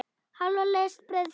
Hálfa lest brauðs.